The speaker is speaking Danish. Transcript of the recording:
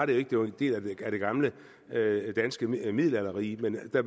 det det var en del af det gamle danske middelalderrige men da